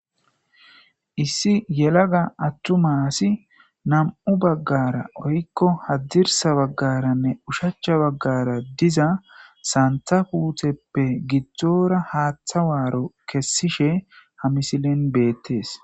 Issi yelaga atuma asi nam'u bagara woyko hadirsa bagaranne ushacha bagara diza Santa puteppe gidora hata waro kesishe ha missilen betes.